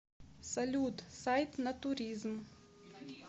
салют сайт натуризм